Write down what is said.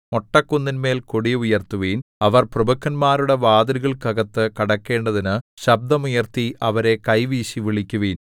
മൊട്ടക്കുന്നിന്മേൽ കൊടി ഉയർത്തുവിൻ അവർ പ്രഭുക്കന്മാരുടെ വാതിലുകൾക്കകത്തു കടക്കേണ്ടതിനു ശബ്ദം ഉയർത്തി അവരെ കൈവീശി വിളിക്കുവിൻ